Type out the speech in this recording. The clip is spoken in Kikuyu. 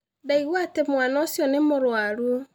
Ndaigua atĩ mwana ũcio nĩ mũrũaru